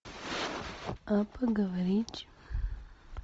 а поговорить